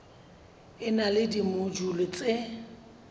e na le dimojule tse